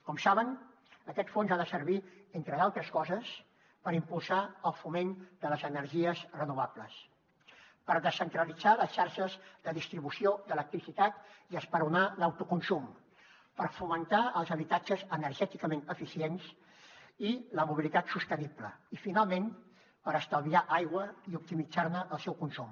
com saben aquest fons ha de servir entre d’altres coses per impulsar el foment de les energies renovables per descentralitzar les xarxes de distribució d’electricitat i esperonar ne l’autoconsum per fomentar els habitatges energèticament eficients i la mobilitat sostenible i finalment per estalviar aigua i optimitzar ne el seu consum